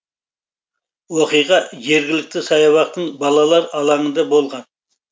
оқиға жергілікті саябақтың балалар алаңында болған